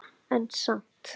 En samt